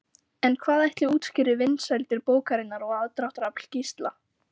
En hvað ætli útskýri vinsældir bókarinnar og aðdráttarafl Gísla?